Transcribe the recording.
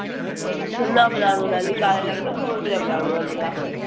ਖੁੱਲਾ ਪਲਾਜ਼ੋ ਲੇਲੀ ਕਾਲੇ ਰੰਗ ਦ